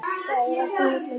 Það fer ekki á milli mála.